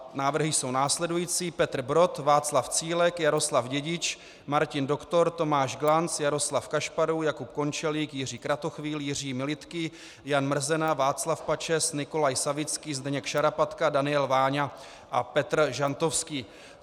Návrhy jsou následující: Petr Brod, Václav Cílek, Jaroslav Dědič, Martin Doktor, Tomáš Glanc, Jaroslav Kašparů, Jakub Končelík, Jiří Kratochvíl, Jiří Militký, Jan Mrzena, Václav Pačes, Nikolaj Savický, Zdeněk Šarapatka, Daniel Váňa a Petr Žantovský.